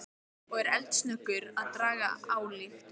Og er eldsnöggur að draga ályktun.